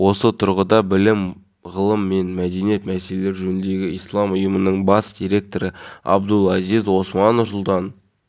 сондықтан барлық ата-ана өздігінен балаларын толық даярлай алмайды дейді азаматтарға арналған үкімет басқарма төрағасының орынбасары